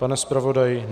Pane zpravodaji?